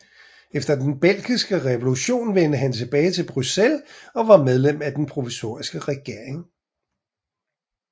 Efter den Belgiske revolution vendte han tilbage til Bruxelles og var medlem af den provisoriske regering